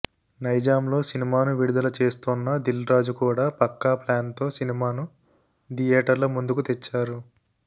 నైజాంలో సినిమాను విడుదల చేస్తోన్న దిల్రాజు కూడా పక్కా ప్లాన్తో సినిమాను థియేటర్ల ముందుకు తెచ్చారు